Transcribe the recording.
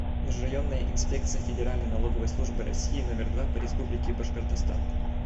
межрайонная инспекция федеральной налоговой службы россии номер два по республике башкортостан